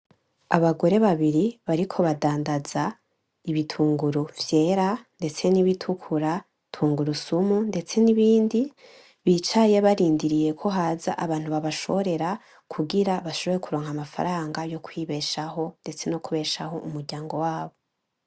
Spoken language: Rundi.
Abagore babiri bariko badandaza ibitunguru vyera ndetse n'ibitukura, tungurusumu ndetse n'ibindi, bicaye barindiriye ko haza abantu babashorera kugira bashobore kuronka amafaranga yo kwibeshaho, ndetse no kubeshaho imiryango yabo.